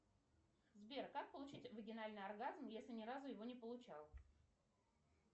сбер как получить вагинальный оргазм если ни разу его не получал